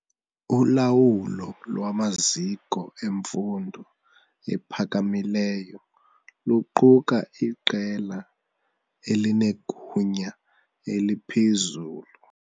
Ulawulo lwamaziko emfundo ephakamileyo luquka iqela elinegunya eliphezulu.